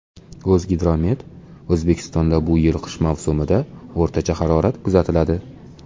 O‘zgidromet: O‘zbekistonda bu yil qish mavsumida o‘rtacha harorat kuzatiladi.